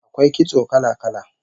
AKwai kitso kala-kala